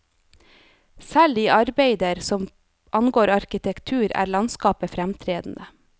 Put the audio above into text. Selv i arbeider som angår arkitektur, er landskapet fremtredende.